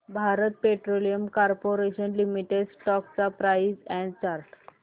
Bharat petroleum corporation limited stock price and chart